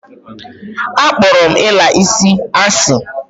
A kporo m ila isi asi.